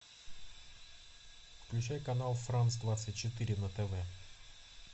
включай канал франс двадцать четыре на тв